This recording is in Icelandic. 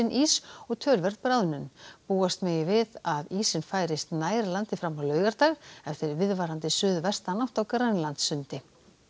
ís og töluverð bráðnun búast megi við að ísinn færist nær landi fram á laugardag eftir viðvarandi suðvestanátt á Grænlandssundi